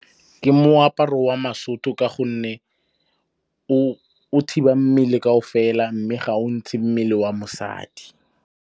Ke moaparo wa Basotho ka gonne o thiba mmele kaofela mme ga o ntshe mmele wa mosadi.